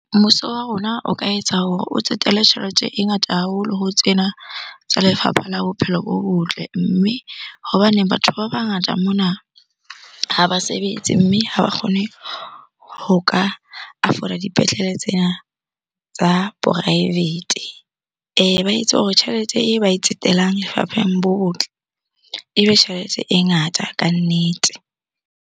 Mmuso wa rona o ka etsa hore o tsetele tjhelete e ngata haholo ho tsena tsa lefapha la bophelo bo botle. Mme hobaneng batho ba bangata mona ha ba sebetse, mme ha ba kgone ho ka afford-a dipetlele tsena tsa poraefete. Ba etse hore tjhelete e ba e tsetelang lefapheng bo botle, ebe tjhelete e ngata kannete.